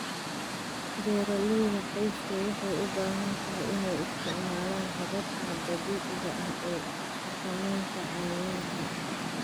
Beeralayda qoysku waxay u badan tahay inay isticmaalaan hababka dabiiciga ah ee xakamaynta cayayaanka.